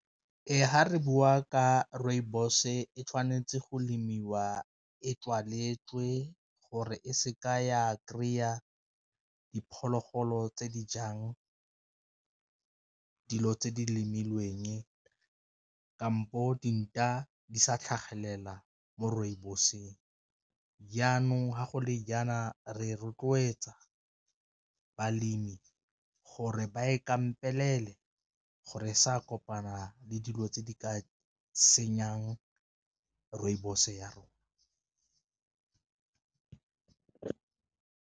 Ee, fa re bua ka rooibos-e tshwanetse go lemiwa e tswaletswe gore e se ka ya kry-a diphologolo tse di jang ke dilo tse di lemileng, kampo dinta di sa tlhagelela mo rooibos-eng, jaanong ga go le jaana re rotloetsa balemi gore ba e kampelele gore e sa kopana le dilo tse di ka senyang rooibos ya rona.